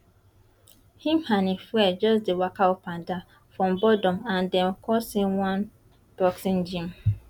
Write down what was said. im and im friend just dey waka up and down from boredom and dem come see one boxing gym